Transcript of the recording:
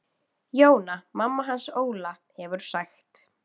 Jóna mamma hans Óla hefur sagt.